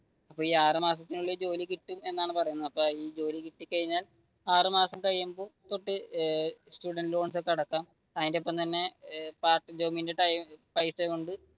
അപ്പൊ ഈ ആറു മാസത്തിനുള്ളിൽ ജോലി കിട്ടുമെന്നാണ് പറയുന്നത് ഈ ജോലി കിട്ടിക്കഴിഞ്ഞാൽ ആറു മാസം കഴിയുമ്പോ തൊട്ട് സ്റ്റുഡൻറ് ലോൺ ഒക്കെ അടക്കാം അതിന്റെ ഒപ്പം തന്നെ പാർട്ട് ടൈം പൈസ കൊണ്ട്